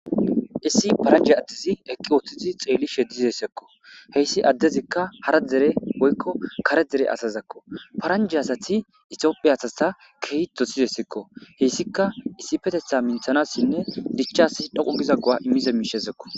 issi paranje attizi eqqi ooththidi xeelli she dizessekko heyssi addezikka hara dere woykko kare dere asazakko paranje asati itiophiya asasa kehi dosizessekko heyssikka issi petetha minthanassinne dichchasa dhoqu giza go7a immiza miishezekko